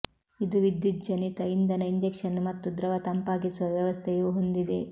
ಇದು ವಿದ್ಯುಜ್ಜನಿತ ಇಂಧನ ಇಂಜೆಕ್ಷನ್ ಮತ್ತು ದ್ರವ ತಂಪಾಗಿಸುವ ವ್ಯವಸ್ಥೆಯು ಹೊಂದಿದೆ